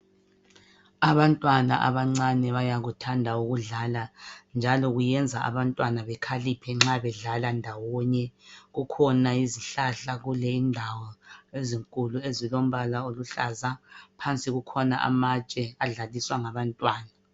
Abantwana abancane bayakuthanda ukudlala njalo kuyenza abantwana bekhaliphe nxa bedlala ndawonye kukhona izihlahla lule indawo ezinkulu ezilombala oluhlaza phansi kukhona amatshe adlaliswa ngabantwana.